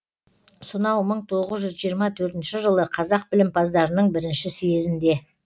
сонау мың тоғыз жүз жиырма төртінші жылы қазақ білімпаздарының бірінші съезінде